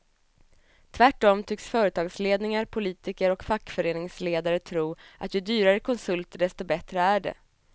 Tvärtom tycks företagsledningar, politiker och fackföreningsledare tro att ju dyrare konsulter desto bättre är det.